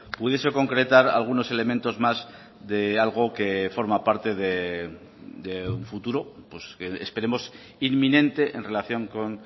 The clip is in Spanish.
pudiese concretar algunos elementos más de algo que forma parte de un futuro que esperemos inminente en relación con